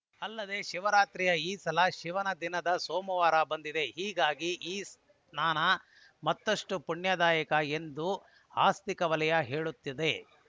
ಅಲ್ಲದೆ ಶಿವರಾತ್ರಿಯು ಈ ಸಲ ಶಿವನ ದಿನವಾದ ಸೋಮವಾರ ಬಂದಿದೆ ಹೀಗಾಗಿ ಈ ಸ್ನಾನ ಮತ್ತಷ್ಟುಪುಣ್ಯದಾಯಕ ಎಂದು ಆಸ್ತಿಕ ವಲಯ ಹೇಳುತ್ತಿದೆ